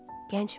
Gəncmi?